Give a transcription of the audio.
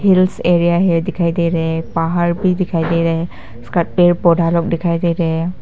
Hills area है दिखाई दे रहे हैं पहाड़ भी दिखाई दे रहे हैं उसका पेड़ पौधा लोग दिखाई दे रहे हैं।